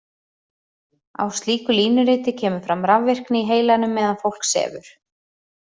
Á slíku línuriti kemur fram rafvirkni í heilanum meðan fólk sefur.